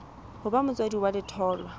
ho ba motswadi wa letholwa